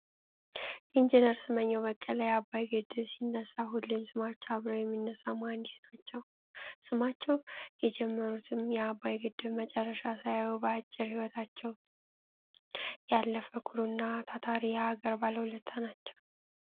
ኢንጂነር ስመኘው በቀለ የአባይ ግድብ ሲነሳ ሁሌም ስማቸው አብሮ የሚነሳ መሀንዲስ ናቸው። ስመኘው የጀመሩትን የአባይ ግድብ መጨረሻ ሳያዩ በአጭር ህይወታቸው ያለፈ ኩሩ እና ታታሪ የሀገር ባለውለታ ናቸው።